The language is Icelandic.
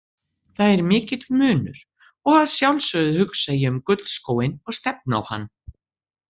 Það er mikill munur og að sjálfsögðu hugsa ég um gullskóinn og stefni á hann.